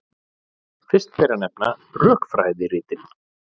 Fyrst ber að nefna rökfræðiritin.